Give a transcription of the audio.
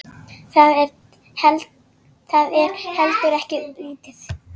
Það er heldur ekki lítið.